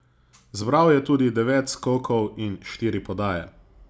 Zbral je tudi devet skokov in štiri podaje.